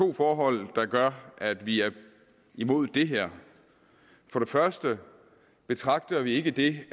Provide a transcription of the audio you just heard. to forhold der gør at vi er imod det her for det første betragter vi ikke det